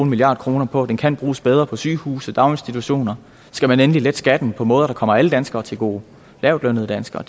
milliard kroner på den kan bruges bedre på sygehuse daginstitutioner skal man endelig lette skatten på måder der kommer alle danskere til gode lavtlønnede danskere